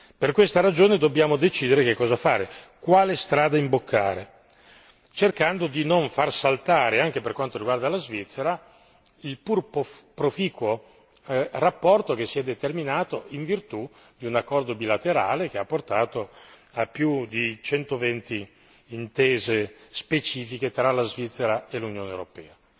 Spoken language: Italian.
Per questa ragione, dobbiamo decidere che cosa fare, quale strada imboccare, cercando di non far saltare anche per quanto riguarda la Svizzera il pur proficuo rapporto che si è determinato in virtù di un accordo bilaterale che ha portato a più di 120 intese specifiche tra la Svizzera e l'Unione europea.